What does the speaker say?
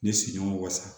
Ne sigiɲɔgɔn wasa